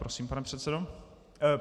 Prosím, pane předsedo.